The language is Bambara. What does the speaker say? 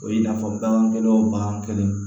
O ye i n'a fɔ bagangɛnw bagan kelen